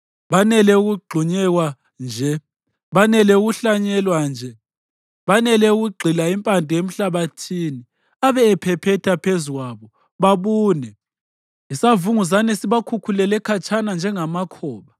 Banele ukugxunyekwa nje, banele ukuhlanyelwa nje, banele ukugxila impande emhlabathini abe ephephetha phezu kwabo, babune, isavunguzane sibakhukhulele khatshana njengamakhoba.